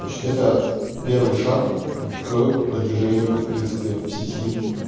значит это первый шаг к продвижению в принципе в сети